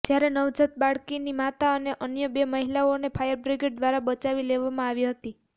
જ્યારે નવજાત બાળકની માતા અને અન્ય બે મહિલાને ફાયર બ્રિગેડ દ્વારા બચાવી લેવામાં આવી હતી